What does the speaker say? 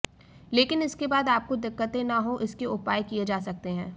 लेकिन इसके बाद आपको दिक्कतें न हों इसके उपाय किए जा सकते हैं